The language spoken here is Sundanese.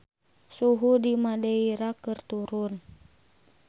Suhu di Madeira keur turun